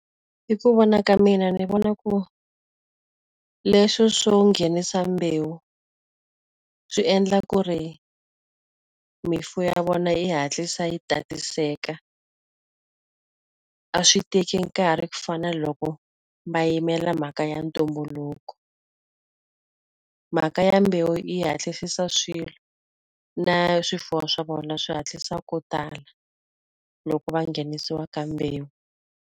Hi ku vona ka mina ni vona ku leswi swo nghenisa mbewu, swi endla ku ri mimfuwo ya vona yi hatlisa yi tatiseka. A swi teki nkarhi ku fana na loko va yimela mhaka ya ntumbuluko. Mhaka ya mbewu yi hatlisisa swilo, na swifuwo swa vona swi hatlisa ku tala loko va nghenisiwa ka mbewu.